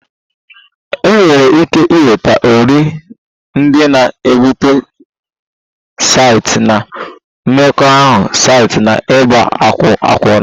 Enwere ike ịnweta ọrịa ndị na-ebute site na mmekọahụ site na ịgba akwụna